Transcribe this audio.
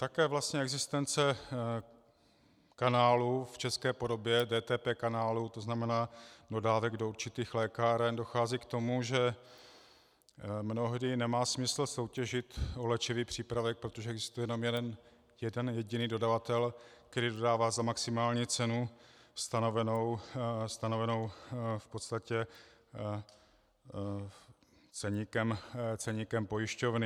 Také vlastně existence kanálu v české podobě, DTP kanálu, to znamená dodávek do určitých lékáren, dochází k tomu, že mnohdy nemá smysl soutěžit o léčivý přípravek, protože existuje jenom jeden jediný dodavatel, který dodává za maximální cenu stanovenou v podstatě ceníkem pojišťovny.